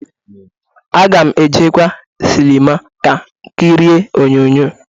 Aga m ejekwa sịlịma ka kirie onyoonyo.